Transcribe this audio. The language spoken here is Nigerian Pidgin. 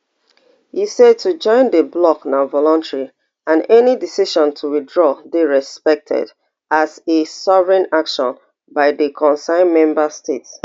e say to join di bloc na voluntary and any decision to withdraw dey respected as a sovereign action by di concerned member state